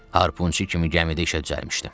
Harpunçu kimi gəmidə işə düzəlmişdim.